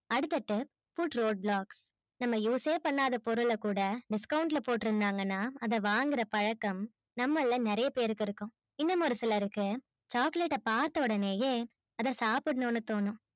அடுத்தது put roll block நம்ம use ஏ பண்ணாத பொருள கூட discount ல போட்டு இருந்தாங்கனா அத வாங்குற பழக்கம் நம்மள நெறைய பேருக்கு இருக்கும் இந்த மாதிரி சிலருக்கு chocolate அ பார்த்த உடனையே அத சாப்பிடனும்னு தோணும்